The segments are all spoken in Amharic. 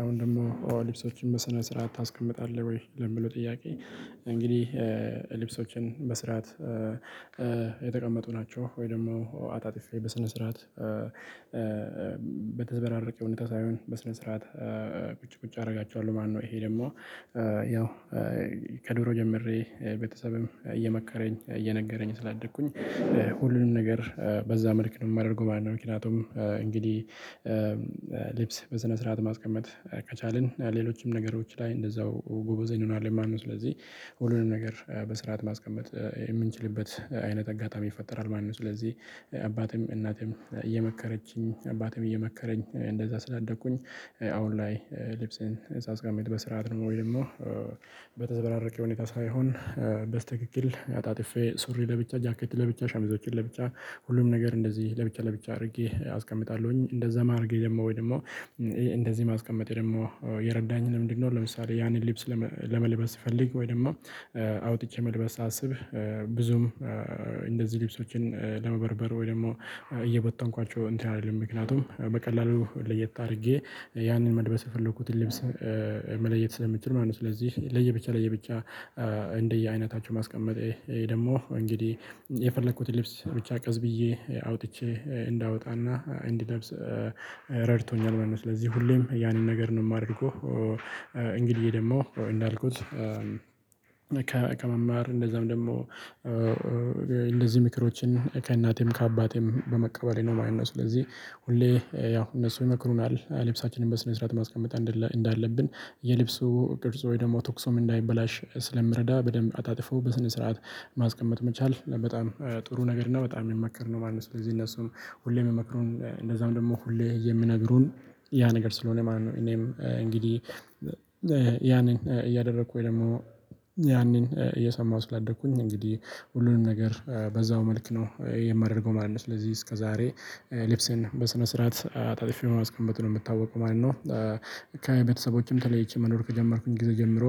አሁን ደግሞ ልብሶችን በስነ ስርዓት ታስቀምጣለህ ወይ? ለሚለው ጥያቄ እንግዲህ ልብሶቸን በስርዓት የተቀመጡ ናቸው። ወይ ደግሞ አጣጥፌ በስነ ስርዓት በተዘበራረቀ ሁኔታ ሳይሆን በስነ ስርዓት ቁጭ ቁጭ አደርጋቸዋለሁ ማለት ነው። ይሄ ደግሞ ያው ከድሮ ጀምሬ ቤተሰብም እየመከረኝ እየነገረኝ ስላደኩኝ ሁሉንም ነገር በዛ መልክ ነው የማደርገው ማለት ነው። ምክንያቱም እንግዲህ ልብስ በስነ ስርዓት ማስቀመጥ ከቻልን ሌሎችም ነገሮች ላይ እንደዛው ጎበዜ እንሆናለን ማለት ነው። ስለዚህ ሁሉንም ነገር በስርዓት ማስቀመጥ የምንችልበት አይነት አጋጣሚ ይፈጠራል ማለት ነው። ስለዚህ አባቴም እናቴም እየመከረችኝ አባቴም እየመከረኝ እንደዛ ስላደግኩኝ አሁን ላይ ልብስን ሳስቀምጥ በስርዓት ነው። ወይ ደግሞ በተዘበራረቀ ሁኔታ ሳይሆን በስትክክል አጣጥፌ ሱሪ ለብቻ፣ ጃኬት ለብቻ፣ ሸሚዞችን ለብቻ፣ ሁሉም ነገር እንደዚህ ለብቻ ለብቻ አድርጌ አስቀምጣለሁኝ። እንደዛ ማርጌ ደግሞ ወይ ደግሞ እንደዚህ ማስቀመጤ ደግሞ የረዳኝ ምንድነው ለምሳሌ ያንን ሊብስ ለመልበስ ስፈልግ ወይም ደግሞ አውጥቼ መልበስ ሳስብ ብዙም እንደዚህ ልብሶችን ለመበርበር ወይ ደግሞ እየበተንኳቸው እንትን አልልም። ምክንያቱም በቀላሉ ለየት አድርጌ ያንን መልበስ የፈለኩትን ልብስ መለየት ስለምችል ማለት ነው። ስለዚህ ለየብቻ ለየብቻ እንደየአይነታቸው ማስቀመጥ ይሄ ደግሞ እንግዲህ የፈለኩትን ልብስ ብቻ ቀስ ብዬ አውጥቼ እንዳወጣና እንድለብስ ረድቶኛል ማለት ነው። ስለዚህ ሁሌም ያንን ነገር ነው የማደርገው። እንግዲህ ደግሞ እንዳልኩት ከመማር እንደዛም ደግሞ እንደዚህ ምክሮችን ከእናቴም ከአባቴም በመቀበሌ ነው ማለት ነው። ስለዚህ ሁሌ ያው እነሱ ይመክሩናል። ልብሳችንን በስነ ስርዓት ማስቀመጥ እንዳለብን። የልብሱ ቅርጽ ወይ ደግሞ ተኩሶም እንዳይበላሽ ስለሚረዳ በደንብ አጣጥፈው በስነ ስርዓት ማስቀመጥ መቻል በጣም ነገር ነው። በጣም የሚመከር ነው ማለት ነው። ስለዚህ እነሱም ሁሌም የሚመክሩን እንደዛም ደግሞ ሁሌ የሚነግሩን ያ ነገር ስለሆነ ማለት ነው። እኔም እንግዲህ ያንን እያደረኩኝ ወይ ደግሞ ያንን እየሰማሁ ስላደኩኝ እንግዲህ ሁሉንም ነገር በዛው መልክ ነው የማደርገው ማለት ነው። ስለዚህ እስከዛሬ ልብስን በስነ ስርዓት አጣጥተፌ ማስቀመጥ ነው የምታወቀው ማለት ነው። ከቤተሰቦቸም ተለይቼ መኖር ከጀመርኩኝ ጊዜ ጀምሮ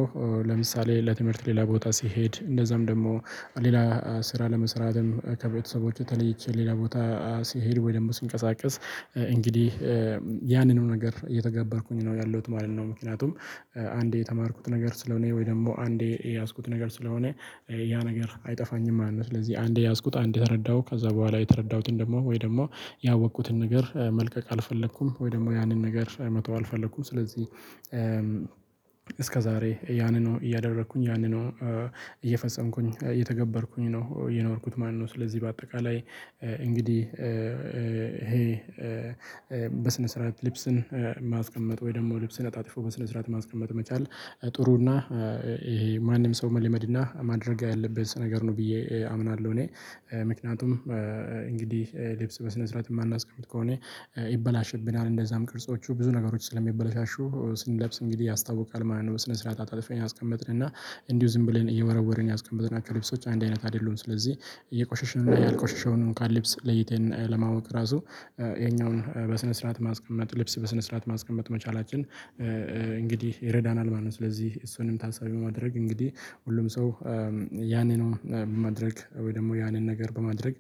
ለምሳሌ ለትምህርት ሌላ ቦታ ስሄድ እንደዛም ደግሞ ሌላ ስራ ለመስራትም ከቤተሰቦቹ ተለይቼ ሌላ ቦታ ስሄድ ወይ ደግሞ ስንቀሳቀስ እንግዲህ ያንንም ነገር እየተገበርኩኝ ነው ያለሁት ማለት ነው። ምክንያቱም አንዴ የተማርኩት ነገር ስለሆነ ወይ ደግሞ አንዴ የያዝኩት ነገር ስለሆነ ያ ነገር አይጠፋኝም ማለት ነው። ስለዚህ አንዴ ያዝኩት አንዴ ከተረዳሁ ከዛ በኋላ የተረዳሁትን ደግሞ ወይ ደግሞ ያወቅኩትን ነገር መልቀቅ አልፈለኩም ወይ ደግሞ ያንን ነገር መተው አልፈለኩም። ስለዚህ ያንኑ ነው እያደረኩኝ ያንኑ ነው እየፈጸምኩኝ እየተገበርኩኝ ነው የኖርኩት ማለት ነው። ስለዚህ በአጠቃላይ እንግዲህ ይሄ በስነ ስርዓት ልብስን ማስቀመጥ ወይ ደግሞ ልብስን አጣጥፎ በስነ ስርዓት ማስቀመጥ መቻል ጥሩ እና ይሄ ማንም ሰው መለመድ እና ማድረግ ያለበት ነገር ነው ብዬ አምናለሁ። እኔ ምክንያቱም እንግዲህ ልብስ በስነ ስርዓት የማናስቀምጥ ከሆነ ይበላሽብናል። እንደዛም ቅርጾቹ ብዙ ነገሮች ስለሚበላሻሹ ስንለብስ እንግዲህ ያስታውቃል ማለት ነው። በስነ ስርዓት አጣልፈን ያስቀመጥን እና እንዲሁ ዝም ብለን እየወረወርን ያስቀመጥናቸው ልብሶች አንድ አይነት አይደሉም። ስለዚህ ያልቆሸሸውን እንኳን ልብስ ለይተን ለማወቅ ራሱ ይሄኛውን በስነ ስርዓት ማስቀመጥ ልብስ በስነ ስርዓት ማስቀመጥ መቻላችን እንግዲህ ይረዳናል ማለት ነው። ስለዚህ እሱንም ታሳቢ በማድረግ እንግዲህ ሁሉም ሰው ያንኑ በማድረግ ወይ ደግሞ ያንን ነገር በማድረግ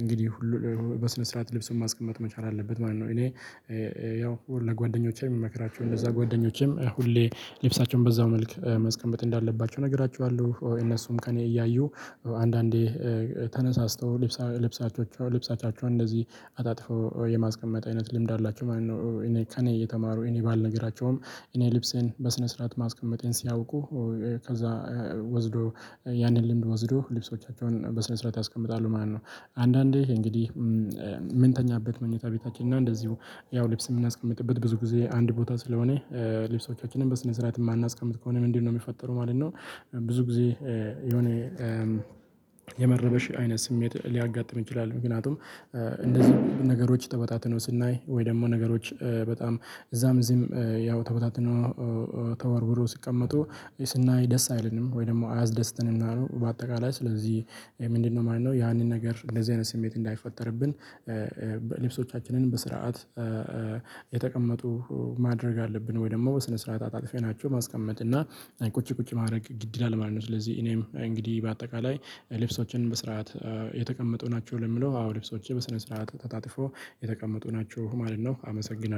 እንግዲህ ሁሉ በስነ ስርዓት ልብስን ማስቀመጥ መቻል አለበት ማለት ነው። እኔ ያው ለጓደኞቼ የምመክራቸው እነዛ ጓደኞቼም ሁሌ ልብሳቸውን በዛው መልክ ማስቀመጥ እንዳለባቸው እነግራችኋለሁ። እነሱም ከእኔ እያዩ አንዳንዴ ተነሳስተው ልብሳቻቸ ልብሳቻቸውን እንደዚህ አጣጥፈው የማስቀመጥ አይነት ልምድ አላቸው ማለት ነው። እኔ ከእኔ እየተማሩ እኔ ባልነገራቸውም እኔ ልብሴን በስነ ስርዓት ማስቀመጤን ሲያውቁ ከዛ ወስዶ ያንን ልምድ ወስዶ ልብሶቻቸውን በስነ ስርዓት ያስቀምጣሉ ማለት ነው። አንዳንዴ እንግዲህ ምንተኛበት መኝታ ቤታችን እና እንደዚሁ ያው ልብስ የምናስቀምጥበት ብዙ ጊዜ አንድ ቦታ ስለሆነ ልብሶቻችንን በስነ ስርዓት የማናስቀምጥ ከሆነ ምንድነው የሚፈጠረው ማለት ነው? ብዙ ጊዜ የሆነ የመረበሽ አይነት ስሜት ሊያጋጥም ይችላል። ምክንያቱም እንደዚህ ነገሮች ተበታትነው ስናይ ወይ ደግሞ ነገሮች በጣም እዛም እዚህም ያው ተቦታትኖ ተወርውሮ ሲቀመጡ ስናይ ደስ አይልም ወይ ደግሞ አያስደስተንም ማለት ነው። በአጠቃላይ ስለዚህ ምንድነው ማለት ነው ያንን ነገር እንደዚህ አይነት ስሜት እንዳይፈጠርብን ልብሶቻችንን በስርዓት የተቀመጡ ማድረግ አለብን ወይ ደግሞ በስነ ስርዓት አጣጥፈናቸው ማስቀመጥ እና ቁጭ ቁጭ ማድረግ ግድ ይላል ማለት ነው። ስለዚህ እኔም እንግዲህ በአጠቃላይ ልብሶችህ በስርዓት የተቀመጡ ናቸው? ለሚለው አዎ ልብሶቸ በስነ ስርዓት ተጣጥፎ የተቀመጡ ናቸው ማለት ነው። አመሰግናለሁ።